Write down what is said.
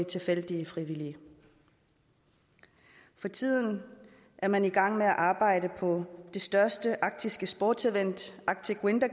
tilfældige frivillige for tiden er man i gang med at arbejde på det største arktiske sportevent arctic winter